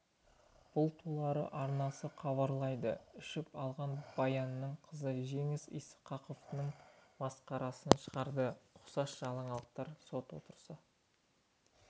бұл туралы арнасы хабарлайды ішіп алған баянның қызы жеңіс ысқақованың масқарасын шығарды ұқсас жаңалықтар сот отырысы